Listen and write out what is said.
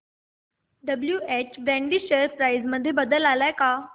WH Brady share price मध्ये बदल आलाय का